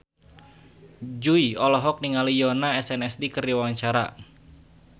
Jui olohok ningali Yoona SNSD keur diwawancara